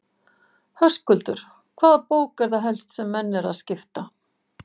Höskuldur: Hvaða bók er það helst sem menn eru að skipta?